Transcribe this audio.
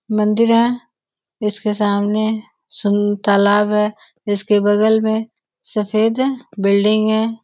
मंदिर है इसके सामने सु तालाब है इसके बगल में सफ़ेद बिल्डिंग है.